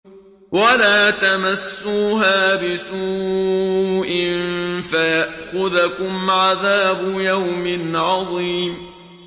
وَلَا تَمَسُّوهَا بِسُوءٍ فَيَأْخُذَكُمْ عَذَابُ يَوْمٍ عَظِيمٍ